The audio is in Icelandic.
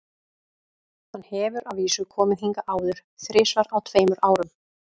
Hann hefur að vísu komið hingað áður, þrisvar á tveimur árum.